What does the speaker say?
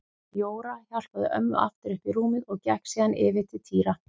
Jóra hjálpaði ömmu aftur upp í rúmið og gekk síðan yfir til Týra.